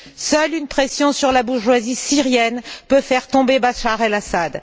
Seule une pression sur la bourgeoisie syrienne peut faire tomber Bachar al Assad.